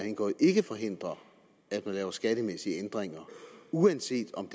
indgået ikke forhindrer at man laver skattemæssige ændringer uanset om